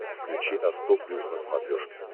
включи авто плюс на смотрешке